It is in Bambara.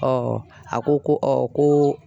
a ko ko ko